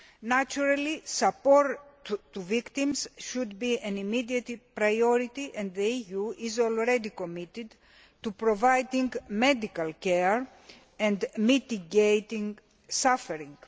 Naturally, support for victims should be an immediate priority, and the EU is already committed to providing medical care and mitigating suffering.